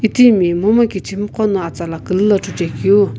itimi momu kichimi qo no atsala külü lo chuchekeu.